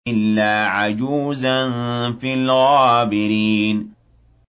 إِلَّا عَجُوزًا فِي الْغَابِرِينَ